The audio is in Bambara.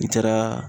N taaraa